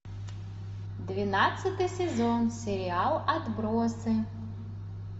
двенадцатый сезон сериал отбросы